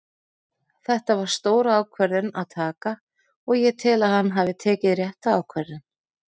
Þetta var stór ákvörðun að taka og ég tel að hann hafi tekið rétta ákvörðun.